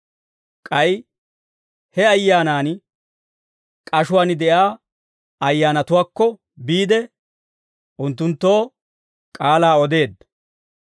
K'ay he Ayyaanan, k'ashuwaan de'iyaa ayyaanatuwaakko biide, unttunttoo k'aalaa odeedda.